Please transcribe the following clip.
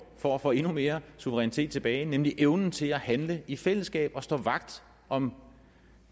for at få endnu mere suverænitet tilbage nemlig evnen til at handle i fællesskab og stå vagt om